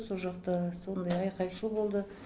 со жақта сондай айқай шу болды